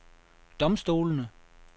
domstolene